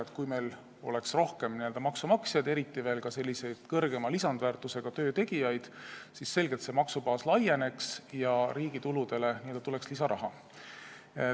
Kui meil oleks rohkem maksumaksjaid, eriti veel suurema lisandväärtusega töö tegijaid, siis maksubaas selgelt laieneks ja riigi tuludesse tuleks lisaraha.